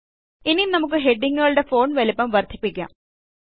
ഇനി നമുക്ക് ഹെഡിംഗ്ങ്ങുകളുടെ ഫോണ്ട് വലിപ്പം വർദ്ധിപ്പിക്കാം